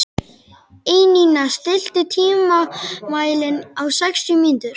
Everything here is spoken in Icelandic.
Einína, stilltu tímamælinn á sextíu mínútur.